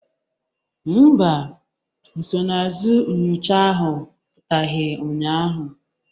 Mba, nsonaazụ nyocha ahụ pụtaghị ụnyaahụ